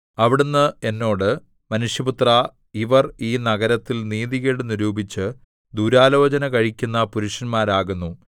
അവിടുന്ന് എന്നോട് മനുഷ്യപുത്രാ ഇവർ ഈ നഗരത്തിൽ നീതികേട് നിരൂപിച്ച് ദുരാലോചന കഴിക്കുന്ന പുരുഷന്മാരാകുന്നു